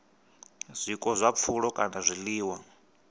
zwiko zwa pfulo kana zwiḽiwa